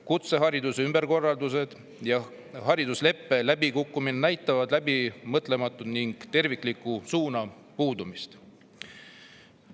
Kutsehariduse ümberkorraldused ja haridusleppe läbikukkumine näitavad läbimõtlematust ning tervikliku ja suuna puudumist.